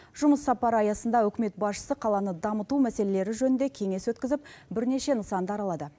жұмыс сапары аясында үкімет басшысы қаланы дамыту мәселелері жөнінде кеңес өткізіп бірнеше нысанды аралады